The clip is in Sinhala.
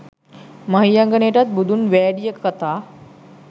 මහියංගනයට බුදුන් වෑඩිය කතා